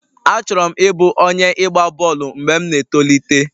Achọrọ m ịbụ onye ịgba bọọlụ mgbe m na-etolite.